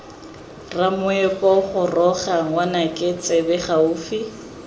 ramoepo goroga ngwanaka tsebe gaufi